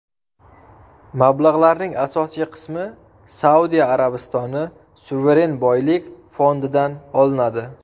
Mablag‘larning asosiy qismi Saudiya Arabistoni suveren boylik fondidan olinadi.